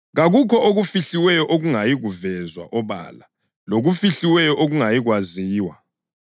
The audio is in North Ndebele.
Kakukho okufihliweyo okungayi kuvezwa obala, lokufihliweyo okungayikwaziwa.